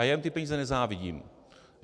A já jim ty peníze nezávidím.